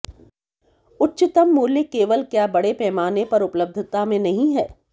उच्चतम मूल्य केवल क्या बड़े पैमाने पर उपलब्धता में नहीं है